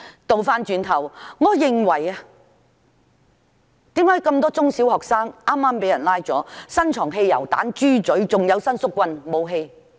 再者，為何有那麼多中小學生被捕後，會在他們身上搜出汽油彈和"豬嘴"，還有伸縮棍等武器？